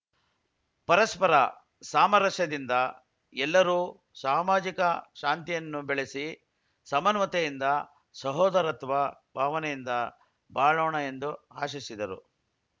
ಪರಸ್ಪರ ಸಾಮರಸ್ಯದಿಂದ ಎಲ್ಲರೂ ಸಾಮಾಜಿಕ ಶಾಂತಿಯನ್ನು ಬೆಳೆಸಿ ಸಮನ್ವಯತೆಯಿಂದ ಸಹೋದರತ್ವ ಭಾವನೆಯಿಂದ ಬಾಳೋಣ ಎಂದು ಆಶಿಸಿದರು